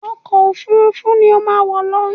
Ọkọ òfurufú ni ó má wọ̀ lọ!